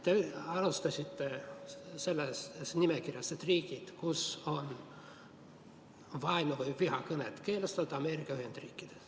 Te esitasite nimekirja riikidest, kus vaenu- või vihakõne on keelustatud, ja tõite esile Ameerika Ühendriigid.